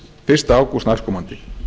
fyrsta ágúst næstkomandi